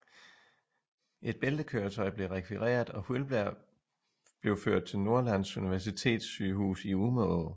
Et bæltekøretøj blev rekvireret og Skyllberg blev ført til Norrlands Universitetssygehus i Umeå